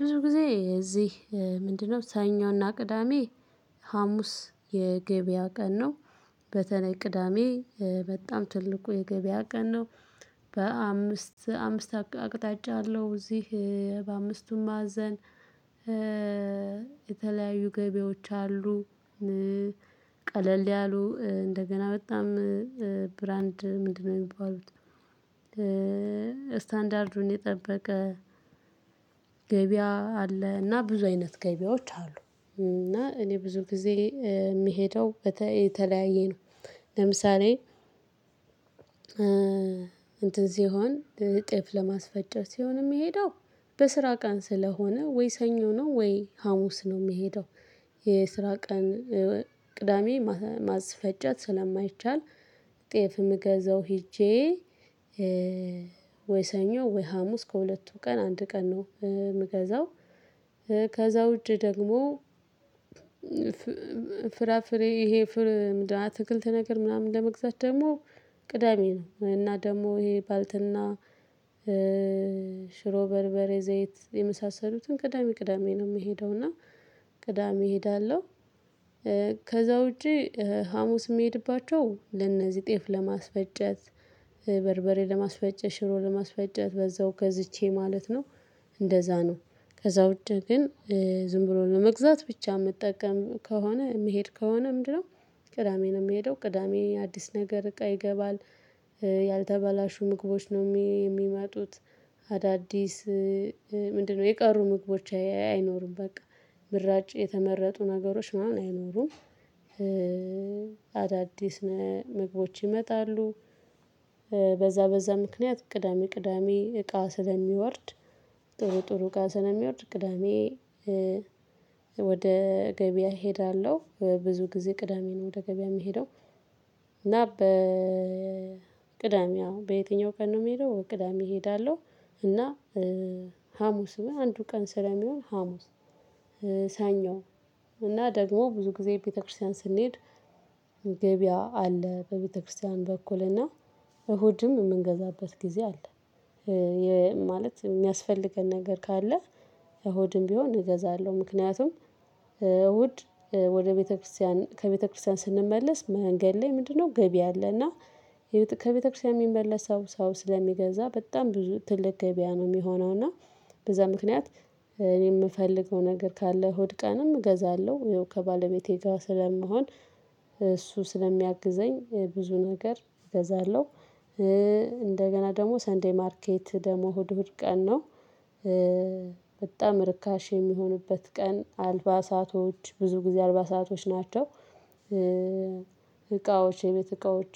ብዙ ጊዜ እዚህ ምንድነው? ሰኞና ቅዳሜ ሀሙስ የገበያ ቀን ነው። በተለይ ቅዳሜ በጣም ትልቁ የገበያ ቀን ነው። በአምስት አምስት አቅጣጫ አለው። እዚህ በአምስቱም ማዕዘን። የተለያዩ ገቢያወች አሉ። ቀለል ያሉ እንደገና በጣም ብራንድ ምንድነው የሚባሉት? ስታንዳርዱን የጠበቀ ገበያ አለ። እና ብዙ አይነት ገበያዎች አሉ። እና እኔ ብዙ ጊዜ የምሄደው በተለያየ ነው። ለምሳሌ እንትን ሲሆን ጤፍ ለማስፈጨት ሲሆን የምሄደው በስራ ቀን ስለሆነ ወይ ሰኞ ነው ወይ ሀሙስ ነው የምሄደው። የስራ ቀን ቅዳሜ ማስፈጨት ስለማይቻል። ጤፍ የምገዛው ሄጄ። ወይ ሰኞ ወይ ሀሙስ ከሁለቱ ቀን አንድ ቀን ነው የምገዛው። ከዛ ውጪ ደግሞ። ፍራፍሬ ይሄ ምንድነው አትክልት ነገር ምናምን ለመግዛት ደግሞ ቅዳሜ ነው። እና ደግሞ ይሄ ባልትና። ሽሮ በርበሬ ዘይት የመሳሰሉትን ቅዳሜ ቅዳሜ ነው የምሄደው። እና ቅዳሜ እሄዳለሁ። ከዛ ውጪ ሀሙስ የምሄድባቸው ለእነዚህ ጤፍ ለማስፈጨት በርበሬ ለማስፈጨት ሽሮ ለማስፈጨት በዛው ገዝቼ ማለት ነው። እንደዛ ነው። ከዛ ውጭ ግን። ዝም ብሎ ለመግዛት ብቻ የምጠቀም ከሆነ የምሄድ ከሆነ ምንድነው? ቅዳሜ ነው የምሄደው ቅዳሜ አዲስ ነገር እቃ ይገባል። ያልተበላሹ ምግቦች ነው የሚመጡት። አዳዲስ ምንድነው የቀሩ ምግቦች አይኖሩም በቃ ምራጭ የተመረጡ ነገሮች ምናምን አይኖሩም። አዳዲስ ምግቦች ይመጣሉ። በዛ በዛ ምክንያት ቅዳሜ ቅዳሜ እቃ ስለሚወርድ። ጥሩ ጥሩ እቃ ስለሚወርድ ቅዳሜ። ወደ ገበያ እሄዳለሁ ብዙ ጊዜ ቅዳሜ ነው ወደ ገበያ የምሄደው። እና በ ቅዳሜ አወ በየትኛው ቀን ነው የምሄደው ቅዳሜ እሄዳለሁ። እና ሀሙስ ነው አንዱ ቀን ስለሚሆን ሀሙስ ሰኞ እና ደግሞ ብዙ ጊዜ ቤተክርስቲያን ስንሄድ። ገበያ አለ በቤተክርስቲያን በኩልና እሁድም የምንገዛበት ጊዜ አለ። ማለት የሚያስፈልገን ነገር ካለ እሁድም ቢሆን እገዛለሁ። ምክንያቱም እሁድ ወደ ቤተክርስቲያን ከቤተክርስቲያን ስንመለስ መንገድ ላይ ምንድነው ገበያ አለና። ከቤተክርስቲያን የሚመለሰው ሰው ስለሚገዛ በጣም ብዙ ትልቅ ገበያ ነው የሚሆነው እና። በዛ ምክንያት እኔ የምፈልገው ነገር ካለ እሁድ ቀንም እገዛለሁ። ያው ከባለቤቴ ጋር ስለምሆን እሱ ስለሚያግዘኝ ብዙ ነገር እገዛለሁ። እንደገና ደግሞ ሰንደይ ማርኬት ደግሞ እሁድ እሁድ ቀን ነው። በጣም ርካሽ የሚሆንበት ቀን አልባሳቶች ብዙ ጊዜ አልባሳቶች ናቸው። እቃዎች የቤት እቃዎች።